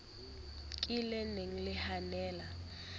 ka le ne le hanella